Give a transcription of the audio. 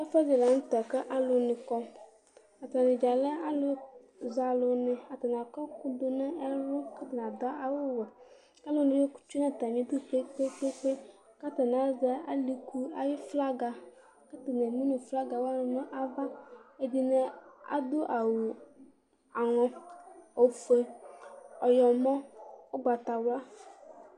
Ɛfʋɛdɩ la nʋ tɛ kʋ alʋnɩ kɔ Atanɩ dza lɛ alʋzɛ alʋnɩ Atanɩ akɔ ɛkʋ dʋ nʋ ɛlʋ kʋ atanɩ adʋ awʋwɛ Alʋnɩ tsue nʋ atamɩdu kpe-kpe-kpe kʋ atanɩ azɛ alɩku ayʋ flaga kʋ atanɩ emu nʋ flaga wanɩ nʋ ava Ɛdɩnɩ adʋ awʋ aŋɔ, ofue, ɔyɔmɔ, ʋgbatawla